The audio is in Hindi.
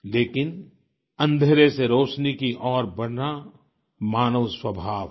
लेकिन अंधेरे से रोशनी की ओर बढ़ना मानव स्वभाव है